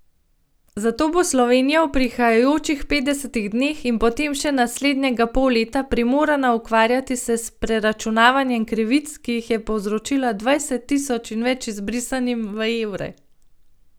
Zato bo Slovenija v prihajajočih petdesetih dneh in potem še naslednjega pol leta primorana ukvarjati se s preračunavanjem krivic, ki jih je povzročila dvajset tisoč in več izbrisanim, v evre.